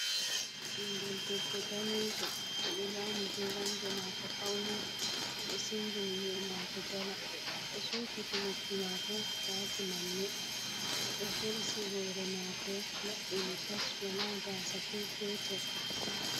Ɓingel debbo danejo. oɗo zani geramje mako fauni oɗo singini nyi'e mako jala to sumpiti noppi mako wati manne, oɗo hersi hore mako labbini tas wala gasa ko petel.